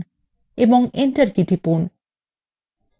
এবং enter key টিপুন